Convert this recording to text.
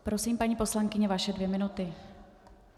Prosím, paní poslankyně, vaše dvě minuty.